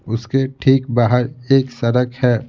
उसके ठीक बाहर एक सड़क है।